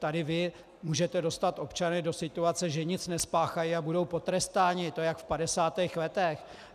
Tady vy můžete dostat občany do situace, že nic nespáchají a budou potrestáni, to je jak v 50. letech.